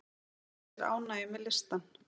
Hann lýsir ánægju með listann.